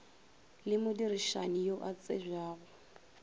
le modirišani yo a tsebjago